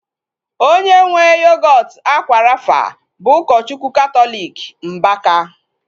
Onye nwee yogọọtu akwa rafa bụ ụkọchukwu katọliki Mbaka